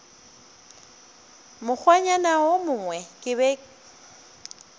mokgwanyana wo mongwe ke be